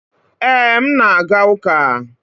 ee, m na-aga uka